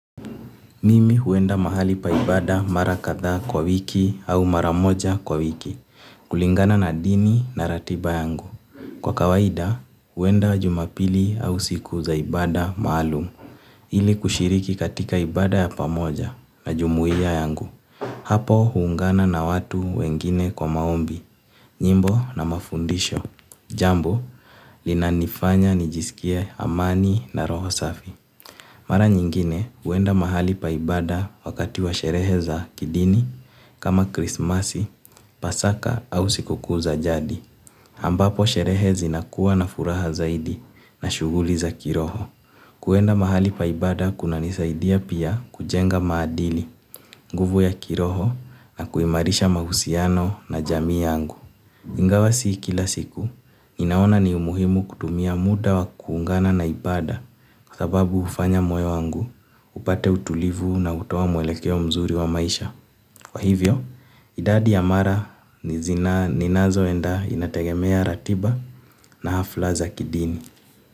Mimi huenda mahali pa ibada mara kadha kwa wiki au mara moja kwa wiki, kulingana na dini na ratiba yangu. Kwa kawaida, huenda jumapili au siku za ibada maalum, ili kushiriki katika ibada ya pamoja na jumuia yangu. Hapo, huungana na watu wengine kwa maombi, nyimbo na mafundisho, jambo, linanifanya nijisikie amani na roho safi. Mara nyingine huenda mahali pa ibada wakati wa sherehe za kidini kama krismasi, pasaka au siku kuu za jadi. Ambapo sherehe zinakuwa na furaha zaidi na shughuli za kiroho. Kuenda mahali pa ibada kunanisaidia pia kujenga maadili, nguvu ya kiroho na kuimarisha mahusiano na jamii yangu. Ingawa si kila siku, ninaona ni umuhimu kutumia muda wa kuungana na ibada kwa sababu hufanya moyo wangu, upate utulivu na hutoa mwelekeo mzuri wa maisha. Kwa hivyo idadi ya mara ninazoenda inategemea ratiba na hafla za kidini.